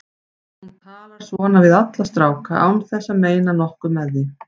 Hún talar svona við alla stráka án þess að meina nokkuð með því.